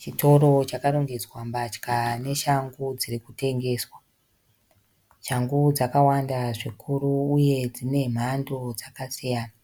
Chitoro chakarongedzwa mbatya neshangu dziri kutengeswa. Shangu dzakawanda zvikuru uye dzine mhando dzakasiyana.